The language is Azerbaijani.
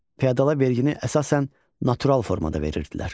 Fiodala vergini əsasən natural formada verirdilər.